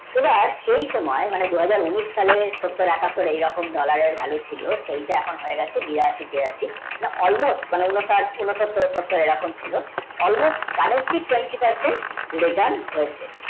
এবার সেই সময় মানে দুহাজার ওনেস সালের মানে সত্তর একত্ত তখন dollar এর valu ছিল তো সেই টা এখন হয়েগেছে বিরাশি তিরাশি বা all mush মানে সতর এরকম ছিল all mushkalensi tuyeti parsanth ritean হয়েছে